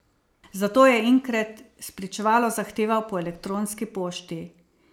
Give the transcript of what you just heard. Zato je Inkret spričevalo zahteval po elektronski pošti.